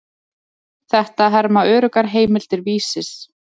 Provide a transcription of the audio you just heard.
Þetta herma öruggar heimildir Vísis.